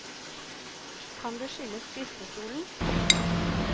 Kan det skyldes skriftestolen?